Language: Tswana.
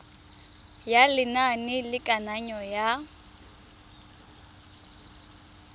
ya lenane la kananyo ya